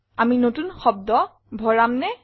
আমি নতুন শব্দ ভৰামনে